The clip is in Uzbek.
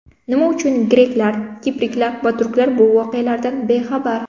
Nima uchun greklar, kiprliklar va turklar bu voqealardan bexabar?